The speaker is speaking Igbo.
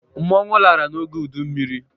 Mmọnwụ lara n'oge udu mmiri.